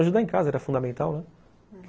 Ajudar em casa era fundamental, né.